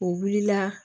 O wulila